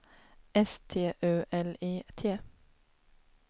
S T U L I T